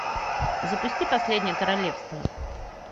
запусти последнее королевство